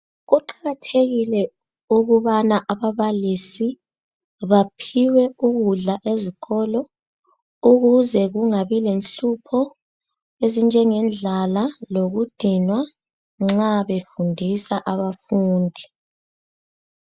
Kuqakathekile ukubana ababalisi baphiwe ukudla ezikolo ukuze kungabi lenhlupho ezinjengendlala lokudinwa nxa befundisa abafundi.